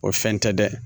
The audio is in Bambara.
O fɛn tɛ dɛ